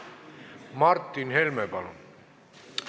Martin Helme, palun!